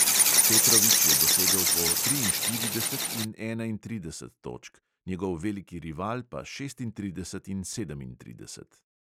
Petrović je dosegel po triinštirideset in enaintrideset točk, njegov veliki rival pa šestintrideset in sedemintrideset.